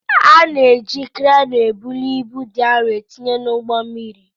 A na-eji kreenu ebuli ibu dị arụ etinye n'ụgbọ mmiri.